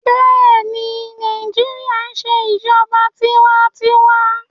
Bẹẹni, Naijiria n ṣe ijọba tiwantiwa